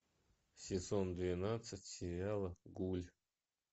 сезон двенадцать сериала гуль